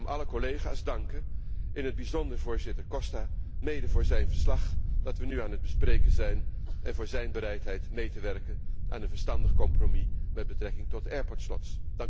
Ik wil daarom alle collega's danken, in het bijzonder voorzitter Costa, mede voor zijn verslag dat we nu aan het bespreken zijn en voor zijn bereidheid mee te werken aan een verstandig compromis met betrekking tot airport slots